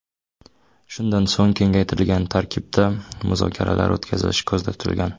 Shundan so‘ng kengaytirilgan tarkibda muzokaralar o‘tkazilishi ko‘zda tutilgan.